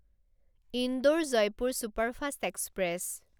Indore Jaipur superfast express